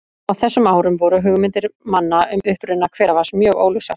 Á þessum árum voru hugmyndir manna um uppruna hveravatns mjög óljósar.